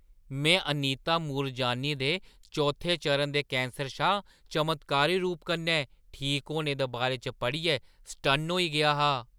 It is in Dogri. में अनीता मूरजानी दे चौथे चरणै दे कैंसर शा चमत्कारी रूप कन्नै ठीक होने दे बारे च पढ़ियै सटन्न होई गेआ हा।